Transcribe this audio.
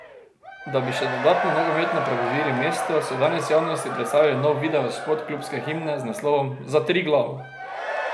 Da bi še dodatno nogometno prebudili mesto, so danes javnosti predstavili nov videospot klubske himne z naslovom Za Triglav.